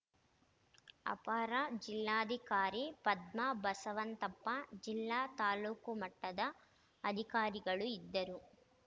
ಅಪರ ಜಿಲ್ಲಾಧಿಕಾರಿ ಪದ್ಮಾ ಬಸವಂತಪ್ಪ ಜಿಲ್ಲಾ ತಾಲೂಕು ಮಟ್ಟದ ಅಧಿಕಾರಿಗಳು ಇದ್ದರು